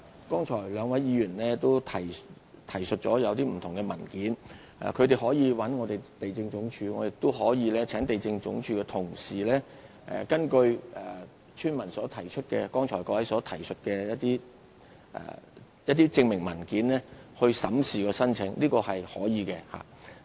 剛才兩位議員曾提述不同文件，他們可以聯絡地政總署，我也可以請地政總署的同事根據村民和各位剛才提述的證明文件而審視申請，這是可以的。